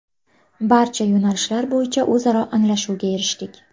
Barcha yo‘nalishlar bo‘yicha o‘zaro anglashuvga erishdik.